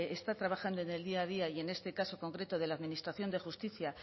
está trabajando en el día a día y en este caso concreto de la administración de justicia